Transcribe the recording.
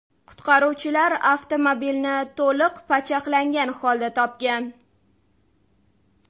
Qutqaruvchilar avtomobilni to‘liq pachaqlangan holda topgan.